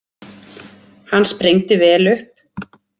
Hann sprengdi vel upp.